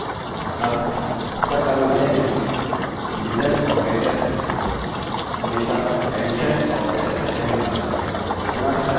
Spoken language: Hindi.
अब इसका कारण यह है कि डिविजन भाग ऑपरेटर हमेशा एडीशन ऑपरेटर से पहले काम करता है गुणा के साथ भी वही होता है